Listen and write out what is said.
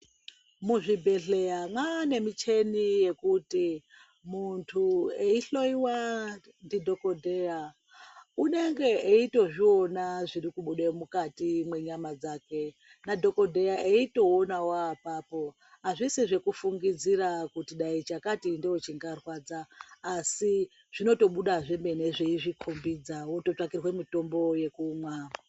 Muzvibhedhlera mwane michini yekuti muntu eihloyiwa ndidhokodheya unenge eitozvionawo zviri kubuda mukati mwenyama dzake nadhokodheya eitoonawo apapo azvisi zvekufungidzira kuti dai chakati ndochingarwadza asi dzinotobuda zvemene zveizvikombidza wototsvakirwa mitombo yekumwa.